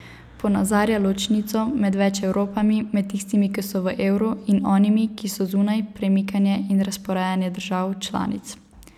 Ponazarja ločnico med več Evropami, med tistimi, ki so v evru, in onimi, ki so zunaj, premikanje in razporejanje držav članic.